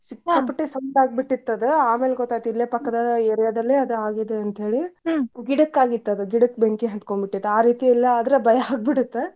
ಆದ್ ಸಿಕ್ಕಾಪಟ್ಟಿ ಸದ್ದಆಗಿಬಿಟ್ಟಿತ್ತ್ ಆದ್ ಆಮೇಲೆ ಗೊತ್ತಾತ ಇಲ್ಲೇ ಪಕ್ಕದೊಳಗ area ದಲ್ಲೇ ಅದ ಆಗಿದ್ದ ಅಂತೇಳಿ. ಗಿಡಕ್ ಆಗಿತ್ತಾದ ಗಿಡಕ್ಕ್ ಬೆಂಕಿ ಹತ್ಕೊಂಡಿಬಿಟ್ಟಿತ್ ಆ ರೀತಿ ಎಲ್ಲ ಅದ್ರ್ ಭಯ ಆಗಿಬಿಡುತೆ.